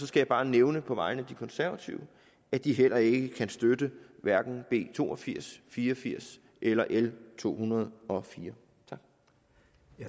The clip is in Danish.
skal bare nævne på vegne af de konservative at de heller ikke kan støtte hverken b to og firs fire og firs eller l to hundrede og fire